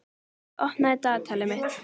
Laugey, opnaðu dagatalið mitt.